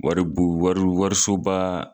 Waribon wari warisobaa